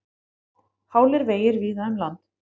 Hálir vegir víða um land